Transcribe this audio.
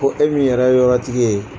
Ko e min yɛrɛ ye yɔrɔtigi ye